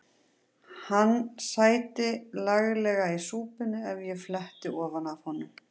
Hann sæti laglega í súpunni ef ég fletti ofan af honum.